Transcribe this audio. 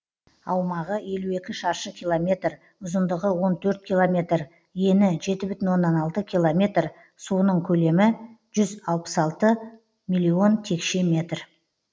аумағы елу екі шаршы километр ұзындығы он төрт километр ені жеті бүтін оннан алты километр суының көлемі жүз алпыс алты миллион текше метр